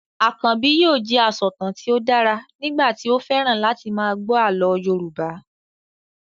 Akànbi yóò jẹ asọ̀tàn tí ó dára nígbà tí ó fẹ́ràn láti máa gbọ́ àlọ́ Yorùbá